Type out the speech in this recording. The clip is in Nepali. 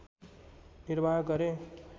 निर्वाह गरे